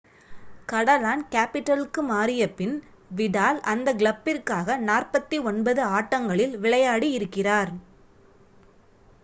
கடலான்-கேபிடலுக்கு மாறிய பின் விடால் அந்த கிளப்பிற்காக 49 ஆட்டங்களில் விளையாடி இருக்கிறார்